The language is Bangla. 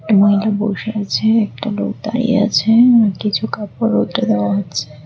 একটি মহিলা বসে আছে একটা লোক দাঁড়িয়ে আছে আর কিছু কাপড় রৌদ্রে দেওয়া হচ্ছে।